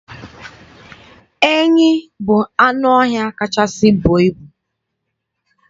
Enyi bụ anụ ọhịa kachasị buo ibu.